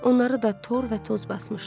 Onları da tor və toz basmışdı.